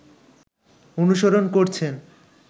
অনুসরণ করছেন